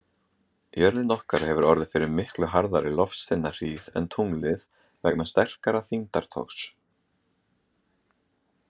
Jörðin okkar hefur orðið fyrir miklu harðari loftsteinahríð en tunglið vegna sterkara þyngdartogs.